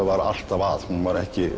var alltaf að hún var ekki